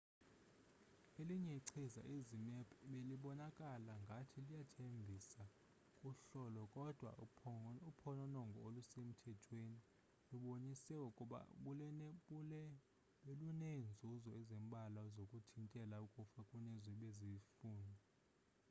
elinye ichiza izmapp belibonakala ngathi liyathembisa kuhlolo kodwa uphononongo olusemthethweni lubonise ukuba beluneenzuzo ezimbalwa zokuthintela ukufa kunezo bezifunwa